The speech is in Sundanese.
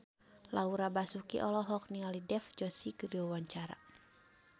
Laura Basuki olohok ningali Dev Joshi keur diwawancara